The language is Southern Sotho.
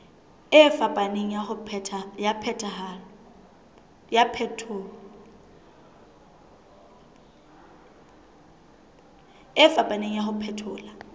e fapaneng ya ho phethola